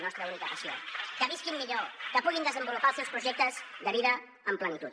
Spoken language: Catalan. nostra única passió que visquin millor que puguin desenvolupar els seus projectes de vida en plenitud